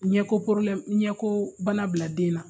Ɲɛko ɲɛkoo bana bila den na